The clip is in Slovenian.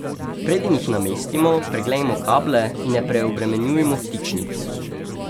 Preden jih namestimo, preglejmo kable in ne preobremenjujmo vtičnic.